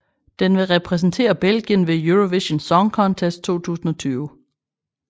Den vil repræsentere Belgien ved Eurovision Song Contest 2020